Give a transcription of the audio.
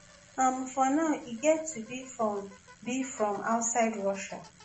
um for now e get to be from be from outside russia.